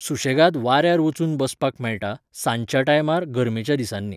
सुशेगाद वाऱ्यार वचून बसपाक मेळटा, सांजच्या टायमार गर्मेच्या दिसांनी.